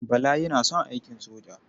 Bala yana son aikin soja.